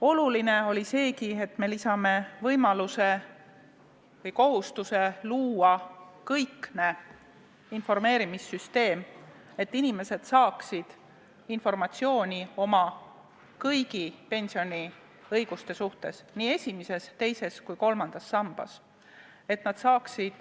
Oluline oli seegi, et me lisame kohustuse luua kõikne informeerimissüsteem, et inimesed saaksid informatsiooni oma kõigi pensioniõiguste kohta nii esimeses, teises kui kolmandas sambas.